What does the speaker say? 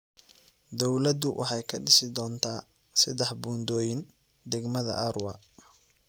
Dawladdu waxay ka dhisi doontaa saddex buundooyin dagmada Arua.